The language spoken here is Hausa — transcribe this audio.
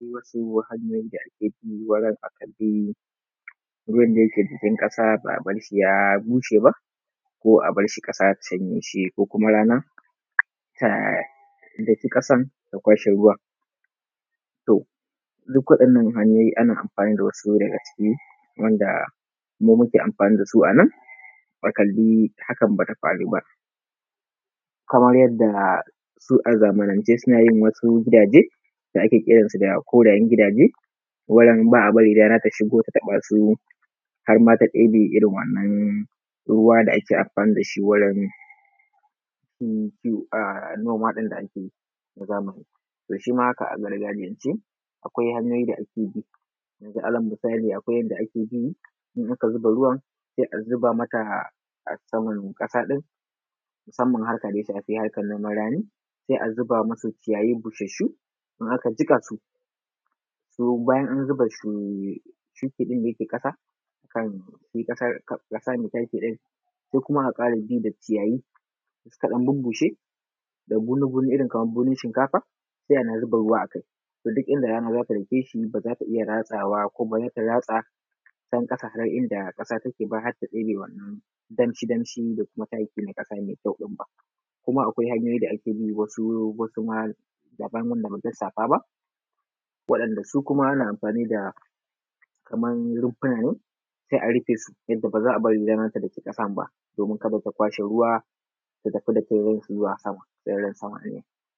Wasu hanyoyi da ake bi wurin a karɓi ruwan da yake jikin kasa ba a barshi ya bushe ba, ko a barshi ƙasa ta shanye shi ko kuma rana ta ɗaki ƙasan ta kwashe ruwan. To duk waɗannan hanyoyi ana amfani da wasu daga ciki wanda mu muke amfani dasu anan, a kali hakan bata faru ba. Kamar yadda su a zamanan ce suna yin wasu gidaje, da ake kiransu da korayen gidaje, wanda ba a bari rana ta shigo ta taɓa su, harma ta ɗebe irin wa’annan ruwa da ake amfani wajan ki, a noma din da ake yi na zamani, to shi ma haka a gargajiyance kawai hanyoyi da ake bi, yazu ala misali yanda ake bi, in aka zuba ruwan sai a zuba mata a saman ƙasa ɗin, musamman harka daya shafi harkan noman rani, sai a zuba musu ciyayi busashu in aka jikasu, bayan an zuba sufi ɗin da yake ƙasa kan ƙasa, sai ƙasa mai taki ɗin, sai kuma a kara bi da ciyayi da suka dan bubushe, da bunu bunu, irin kaman bunun shinkafa, sai ana zuba ruwa akai to duk inda rana za ta bigeshi baza ta iya ratsawa ko baza ta ratsa can ƙasa har inda ƙasa take ba har ta ɗebe wannan damshi damshi da kuma taki mai ƙasa mai kyau ba. Kuma akwai hanyoyi da ake bi wasu, wasu ma dabam wanda bamu lissafa ba wadan da su kuma ana amfani da kaman rumfuna ne sai a rufe su, yadda ba a bari rana ta doki ƙasan ba domin kada ta kwashe ruwa ta tafi da teran zuwa sama domin ruwan sama. s